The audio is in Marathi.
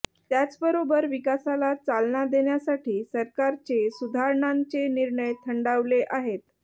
त्याचबरोबर विकासाला चालना देण्यासाठी सरकारचे सुधारणांचे निर्णय थंडावले आहेत